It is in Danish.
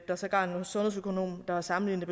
er sågar nogle sundhedsøkonomer der har sammenlignet